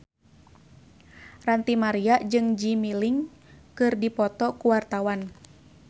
Ranty Maria jeung Jimmy Lin keur dipoto ku wartawan